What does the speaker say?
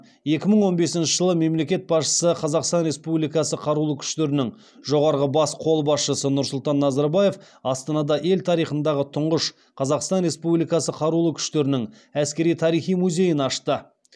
екі мың он бесінші жылы мемлекет басшысы қазақстан республикасы қарулы күштерінің жоғарғы бас қолбасшысы нұрсұлтан назарбаев астанада ел тарихындағы тұңғыш қазақстан республикасы қарулы күштерінің әскери тарихи музейін ашты